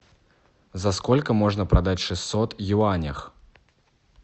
за сколько можно продать шестьсот юаней